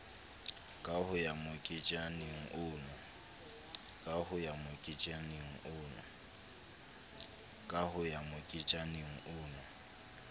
ka ho ya moketjaneng ono